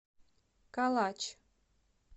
калач